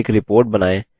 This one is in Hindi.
एक रिपोर्ट बनाएँ